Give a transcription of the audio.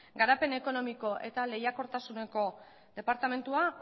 garapen ekonomiko eta lehiakortasuneko departamentua